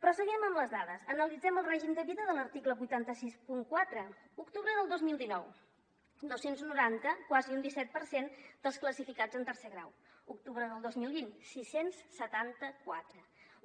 però seguim amb les dades analitzem el règim de vida de l’article vuit cents i seixanta quatre octubre del dos mil dinou dos cents i noranta quasi un disset per cent dels classificats en tercer grau octubre del dos mil vint sis cents i setanta quatre